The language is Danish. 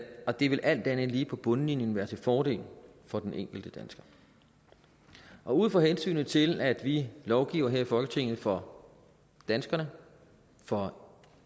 og det vil alt andet lige på bundlinjen være til fordel for den enkelte dansker ud fra hensynet til at vi lovgiver her i folketinget for danskerne for